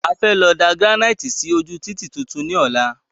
A fẹ́ lọ da gíránìtì sí ojú títì tuntun ní ola